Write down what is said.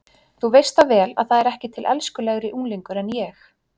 Þú veist það vel að það er ekki til elskulegri unglingur en ég.